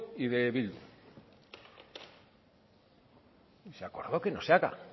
y del bildu y se acordó que no se haga